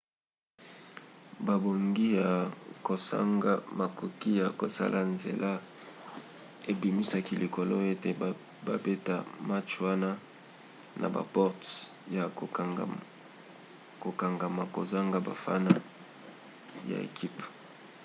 bobangi ya kozanga makoki ya kosala nzela ebimisaki likoki ete babeta match wana na baporte ya kokangama kozanga bafana ya ekipe